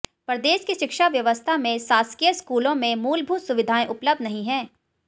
प्रदेश की शिक्षा व्यवस्था में शासकीय स्कूलों में मूलभूत सुविधाएं उपलब्ध नहीं है